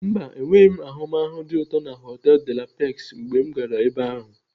Mba, enweghị m ahụmahụ dị ụtọ na họtelu De la Pex mgbe m gara ebe ahu.